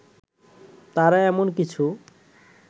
তারা এমন কিছু